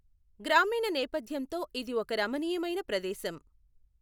గ్రామీణ నేపథ్యంతో ఇది ఒక రమణీయమైన ప్రదేశం.